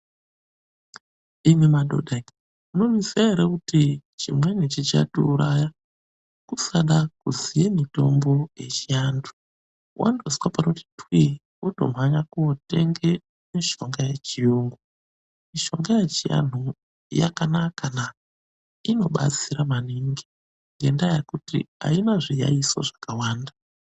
Imwi madhodha imwi, munozviziya ere kuti chimweni chichatiuraya kusada kuziye mitombo yechiantu? Wandozwa panoti twii, wotomhanya kootenge mishonga yechiyungu. Mishonga yechiantu yakanakana, inobatsira maningi ngendaa yekuti haina zviyayiso zvakawanda.